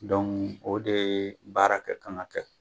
Dɔnku o de baara kɛ kan ka kɛ